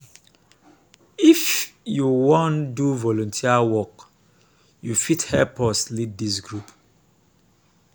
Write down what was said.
if you wan do volunteer work you go fit help us lead dis group